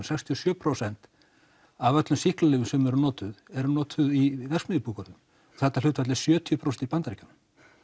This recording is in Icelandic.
sextíu og sjö prósent af öllum sýklalyfjum sem eru notuð eru notuð í verksmiðjubúgörðum og þetta hlutfall er sjötíu prósent í Bandaríkjunum